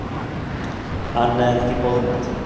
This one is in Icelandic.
Annað er ekki boðlegt.